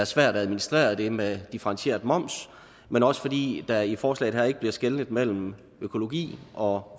svært at administrere det med differentieret moms men også fordi der i forslaget her ikke bliver skelnet mellem økologi og